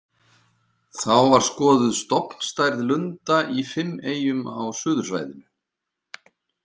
Þá var skoðuð stofnstærð lunda í fimm eyjum á suðursvæðinu.